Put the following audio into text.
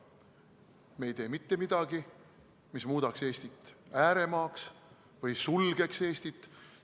Me ei tee mitte midagi, mis muudaks Eestit ääremaaks või sulgeks Eestit.